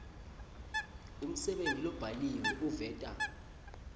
umsebenti lobhaliwe uveta